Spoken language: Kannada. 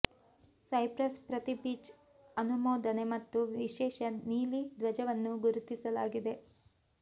ಸೈಪ್ರಸ್ ಪ್ರತಿ ಬೀಚ್ ಅನುಮೋದನೆ ಮತ್ತು ವಿಶೇಷ ನೀಲಿ ಧ್ವಜವನ್ನು ಗುರುತಿಸಲಾಗಿದೆ